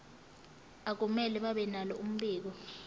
akumele babenalo mbiko